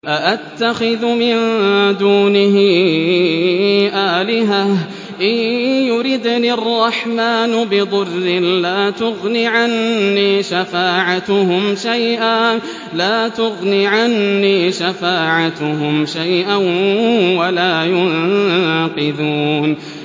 أَأَتَّخِذُ مِن دُونِهِ آلِهَةً إِن يُرِدْنِ الرَّحْمَٰنُ بِضُرٍّ لَّا تُغْنِ عَنِّي شَفَاعَتُهُمْ شَيْئًا وَلَا يُنقِذُونِ